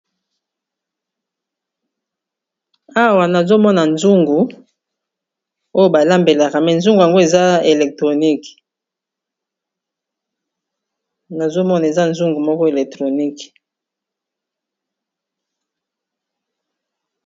Awa nazomona zungu oyo balambelaka mais zungu yango nazomona eza nzungu moko electronique.